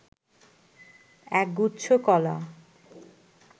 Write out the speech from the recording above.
একগুচ্ছ কলা